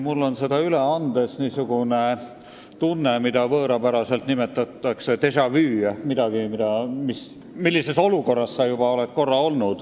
Mul on seda üle andes niisugune tunne, mille võõrapärane nimetus on déjà vu ja mis tähendab tunnet, et sa oled samasuguses olukorras juba olnud.